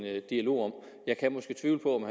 dialog om jeg kan måske tvivle på om